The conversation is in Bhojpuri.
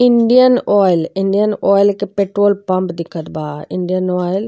इंडियन आयल इंडियन आयल के पेट्रोल पम्प दिखत बा। Indian Oil --